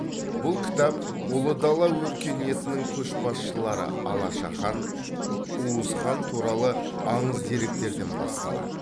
бұл кітап ұлы дала өркениетінің көшбасшылары алаша хан уыз хан туралы аңыз деректерден басталады